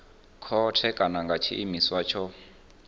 khothe kana nga tshiimiswa tsho